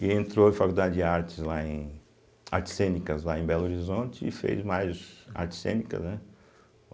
E entrou em faculdade de artes lá em, artes cênicas lá em Belo Horizonte e fez mais artes cênicas, né.